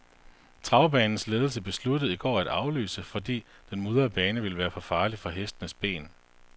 Travbanens ledelse besluttede i går at aflyse, fordi den mudrede bane ville være for farlig for hestenes ben.